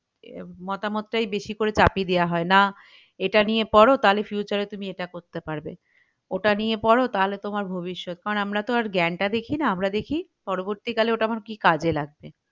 এরকম মতামত টাই বেশি করে চাপিয়ে দেওয়া হয় না এটা নিয়ে পড় তালে future এ তুমি এটা করতে পারবে ওটা নিয়ে পর তাহলে তোমার ভবিষ্যৎ কারন আমরা তো আর জ্ঞান টা দেখি না আমরা দেখি পরবর্তীকালে ওটা আমার কি কাজে লাগবে